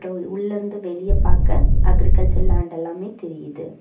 உள்ள இருந்து வெளியே பார்க்கா அக்ரிகல்ச்சர் லேண்ட் எல்லாமே தெரியுது.